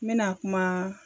N mɛna kuma